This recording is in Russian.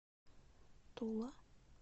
тула